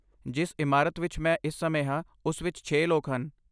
ਜਿਸ ਇਮਾਰਤ ਵਿੱਚ ਮੈਂ ਇਸ ਸਮੇਂ ਹਾਂ, ਉਸ ਵਿੱਚ ਛੇ ਲੋਕ ਹਨ